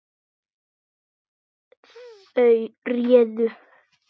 Þau réðu.